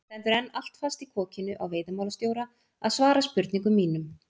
Það stendur enn allt fast í kokinu á veiðimálastjóra að svara spurningum mínum.